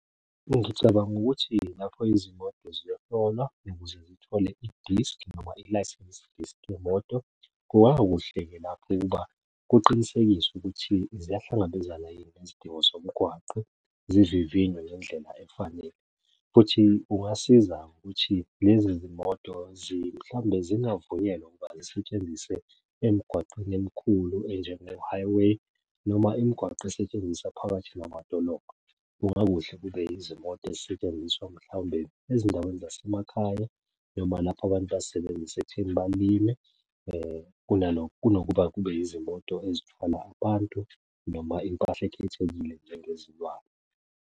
Ngicabanga ukuthi lapho izimoto ziyohlolwa ukuze zithole idiskhi noma ilayisensi diskhi yemoto, kungakuhle-ke lapho ukuba kuqinisekiswe ukuthi ziyahlangabezana yini nezidingo zomgwaqo. Zivivinywe ngendlela efanele, futhi kungasiza ukuthi lezi zimoto mhlawumbe zingavunyelwa ukuba zisetshenziswe emigwaqeni emikhulu enjengo-highway noma imigwaqo esetshenziswa phakathi namadolobha. Kungakuhle kube yizimoto ezisetshenziswa mhlawumbe ezindaweni zasemakhaya, noma lapho abantu bazisebenzise ekutheni balime, kunalokho kunokuba kube yizimoto ezithwala abantu noma impahla ekhethekile njengezilwane.